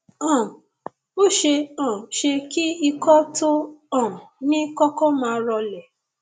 um ó ṣeé um ṣe kí ikọ tó o um ní kọkọ máa rọlẹ